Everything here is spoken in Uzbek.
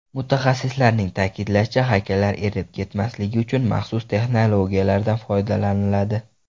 Mutaxassislarning ta’kidlashicha, haykallar erib ketmasligi uchun maxsus texnologiyalardan foydalaniladi.